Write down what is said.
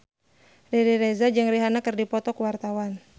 Riri Reza jeung Rihanna keur dipoto ku wartawan